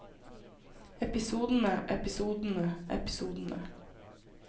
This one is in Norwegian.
episodene episodene episodene